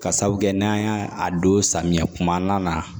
Ka sabu kɛ n'an y'a don samiya kumana